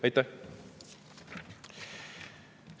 Aitäh!